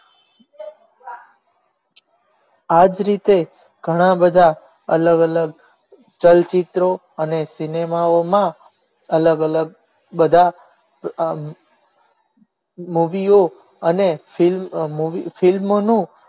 આજ રીતે ઘણા બધા અલગ અલગ ચલચિત્રો અને સિનેમાઓમાં અલગ અલગ બધા movie અને film સમયમાં ખૂબ જ